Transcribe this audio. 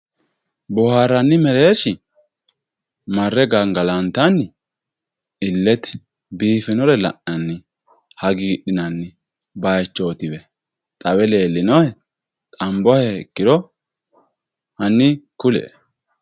Boharanni merershi mare gangalantanni ilete bifinore lana"ni hagidhinani bayichotiwe xawe lelinohe xanbohekiro hanni kulie